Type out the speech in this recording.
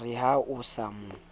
re ha o sa mo